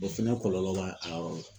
O fɛnɛ kɔlɔlɔ b'a a yɔrɔ la .